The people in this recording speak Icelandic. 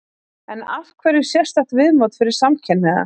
En af hverju sérstakt mót fyrir samkynhneigða?